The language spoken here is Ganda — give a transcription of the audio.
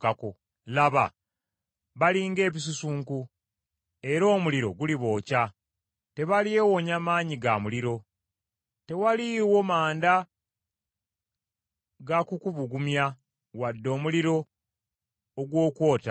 Laba, bali ng’ebisusunku era omuliro gulibookya! Tebalyewonya maanyi ga muliro. Tewaliiwo manda ga kukubugumya wadde omuliro ogw’okwota!